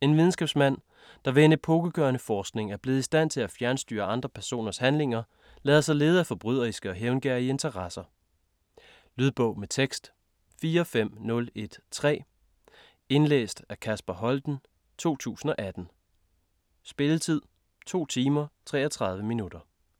En videnskabsmand, der ved en epokegørende forskning er blevet i stand til at fjernstyre andre personers handlinger, lader sig lede af forbryderiske og hævngerrige interesser. Lydbog med tekst 45013 Indlæst af Kasper Holten, 2018. Spilletid: 2 timer, 33 minutter.